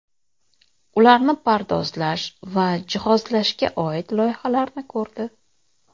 ularni pardozlash va jihozlashga oid loyihalarni ko‘rdi.